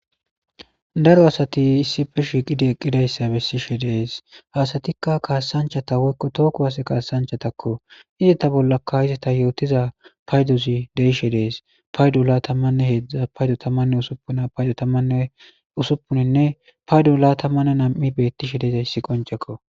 daro asati issife shiiqidi eqqidayssa bessishe de'es ha asatikka kaassanchata woykko too kuwase kaasanchatakko izata bollaka izata yootiza paydozi de'ishe dees paydo laatamanne heedzdza paydo tamanne usuppuna paydo tammanne usuppuninne paydo laatamanne nam'i beettishe deezayssi qoncekko